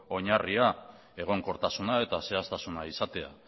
oinarria egonkortasuna eta zehaztasuna izatea